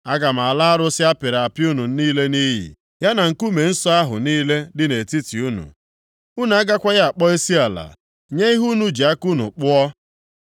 Aga m ala arụsị a pịrị apị unu niile nʼiyi, ya na nkume nsọ ahụ niile dị nʼetiti unu. Unu agakwaghị akpọ isiala nye ihe unu ji aka unu kpụọ.